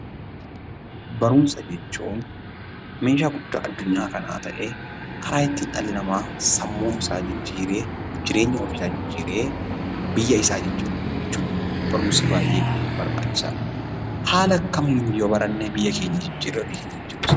Barumsa jechuun meeshaa guddaa addunyaa kanaa ta'ee karaa ittiin dhalli namaa sammuu isaa jijjiiree, jireenya ofiisaa jijjiiree, biyya isaa jijjiiru jechuudha. Barumsi baay'ee barbaachisa. Haala akkamiin yoo baranne biyya keenya jijjiirree ofii keenya jijjiiruu